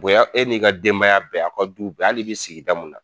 Bonya e n'i ka denbaya bɛɛ aw ka duw bɛɛ hal'i be sigida mun na